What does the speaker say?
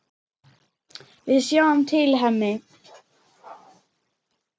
Við sjáum til, Hemmi.